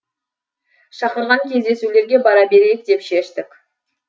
шақырған кездесулерге бара берейік деп шештік